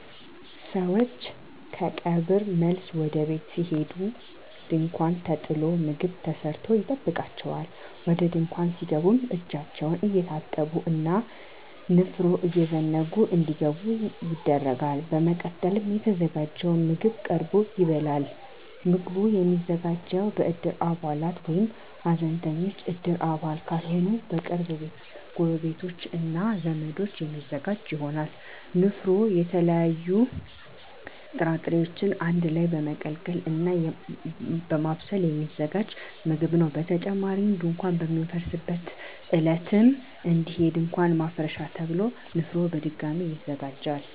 ሰወች ከቀብር መልስ ወደ ቤት ሲሄዱ ድንኳን ተጥሎ ምግብ ተሰርቶ ይጠብቃቸዋል። ወደ ድንኳን ሲገቡም እጃቸውን እየታጠቡ እና ንፍሮ እየዘገኑ እንዲገቡ ይደረጋል። በመቀጠልም የተዘጋጀው ምግብ ቀርቦ ይበላል። ምግቡ የሚዘጋጀው በእድር አባላት ወይም ሀዘንተኞች እድር አባል ካልሆኑ በቅርብ ጎረቤቶች እና ዘመዶች የሚዘጋጅ ይሆናል። ንፍሮ የተለያዩ ጥራጥሬወችን አንድ ላይ በመቀቀል እና በማብሰል የሚዘጋጅ ምግብ ነው። በተጨማሪም ድንኳን በሚፈርስበት ዕለትም እንዲሁ የድንኳን ማፍረሻ ተብሎ ንፍሮ በድጋሚ ይዘጋጃል።